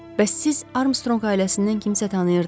Bəs siz Armstrong ailəsindən kimsə tanıyırdız?